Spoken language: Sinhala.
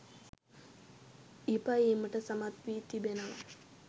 ඉපයීමට සමත් වී තිබෙනවා